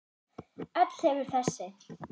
Öll hefur þessi